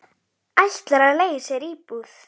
Ætlar að leigja sér íbúð.